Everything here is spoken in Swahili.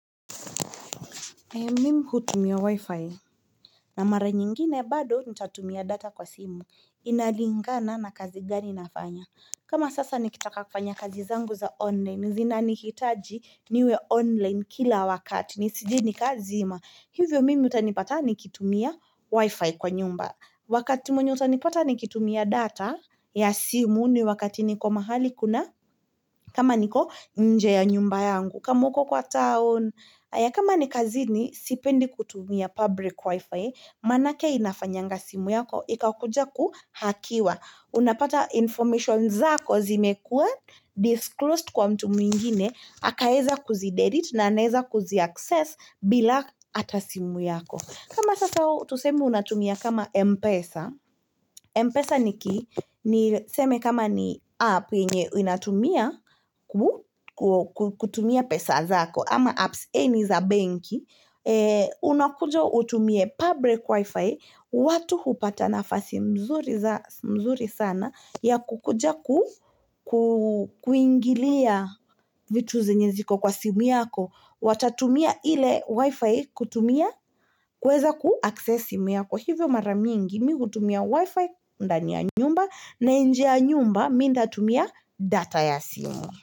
Mimi hutumia wi-fi na mara nyingine bado nitatumia data kwa simu inalingana na kazi gani nafanya kama sasa nikitaka kufanya kazi zangu za online zinanikitaji niwe online kila wakati nisijini kazi ima hivyo mimi utanipata nikitumia wi-fi kwa nyumba Wakati mwenye utanipata nikitumia data ya simu ni wakati niko mahali kuna kama niko nje ya nyumba yangu kama uko kwa town haya kama ni kazini, sipendi kutumia public wifi, manake inafanyanga simu yako, ikakuja kuhakiwa. Unapata information zako zimekuwa, disclosed kwa mtu mwingine, akaweza kuzi delete na anaeza kuzi access bila ata simu yako. Kama sasa tuseme unatumia kama Mpesa, Mpesa ni kii, ni tuseme kama ni app yenye unatumia kutumia pesa zako. Ama apps any za benki unakuja utumie public wifi watu hupata nafasi mzuri sana ya kukuja kuingilia vitu zenye ziko kwa simu yako watatumia ile wifi kutumia kuweza kuaccess simu yako hivyo mara mingi mimi hutumia wifi ndani ya nyumba na nje ya nyumba mimi nitatumia data ya simu.